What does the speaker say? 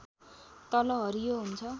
तल हरियो हुन्छ